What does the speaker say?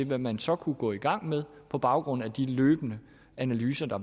hvad man så kunne gå i gang med på baggrund af de løbende analyser der